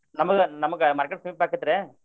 ನಮಗ ನಮ್ಗ market ಸಮೀಪ ಆಕ್ಕೆತ್ರಿ.